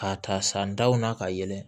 K'a ta san daw na ka yɛlɛ